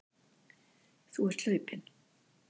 Þú ert hlaupinn.